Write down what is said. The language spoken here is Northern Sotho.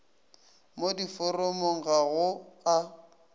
mo diforomong ga go a